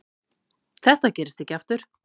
Þetta gerist ekki aftur.